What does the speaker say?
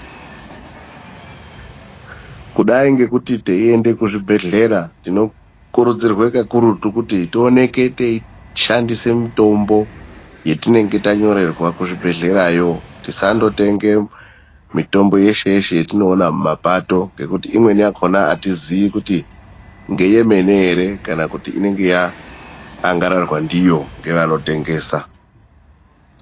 Kudai ngekuti teiende kuzvibhedhlera, tinokurudzirwe kakurutu kuti tioneke teishandise mutombo yetinenge tanyorerwa kuzvibhedhlera yo. Tisandotenge mitombo yeshe yeshe yetinoona mumapato, ngekuti imweni yakhona atizii kuti ngeyemene ere kana kuti inenge yaangararwa ndiyo ngevanotengesa.